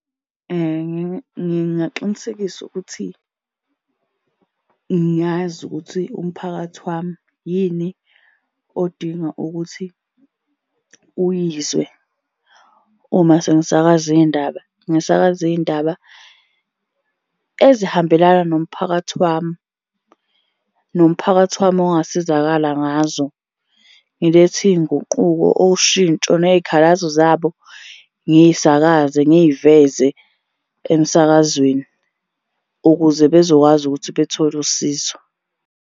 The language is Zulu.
Ngingaqinisekisa ukuthi ngazi ukuthi umphakathi wami yini odinga ukuthi uyizwe uma sengisakaza iy'ndaba, ngisakaza iy'ndaba ezihambelana nomphakathi wami. Nomphakathi wami ongasizakala ngazo. Ngilethe iy'nguquko, ushintsho, ney'khalazo zabo ngiy'sakaze ngiy'veze emsakazweni ukuze bezokwazi ukuthi bethole usizo.